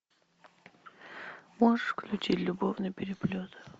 можешь включить любовный переплет